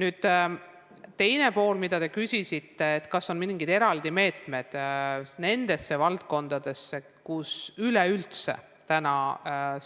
Nüüd teine pool, mida te küsisite: kas on mingeid eraldi meetmeid nende valdkondade jaoks, kus üleüldse täna